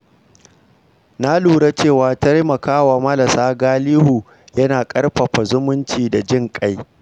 Na lura cewa taimakawa marasa galihu yana ƙarfafa zumunci da jin ƙai.